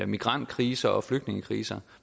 migrantkriser og flygtningekriser